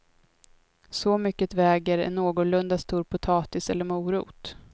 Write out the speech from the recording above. Så mycket väger en någorlunda stor potatis eller morot.